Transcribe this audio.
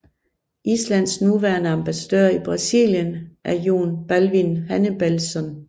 Islands nuværende ambassadør i Brasilien er Jón Baldvin Hannibalsson